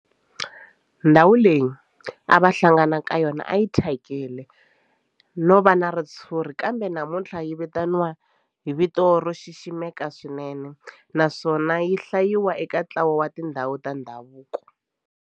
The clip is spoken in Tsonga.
Ndhawu leyi a va hlangana ka yona a yi thyakile no va na ritshuri kambe namuntlha yi vitaniwa hi vito ro xiximeka swinene naswona yi hlayiwa eka ntlawa wa tindhawu ta ndhavuko.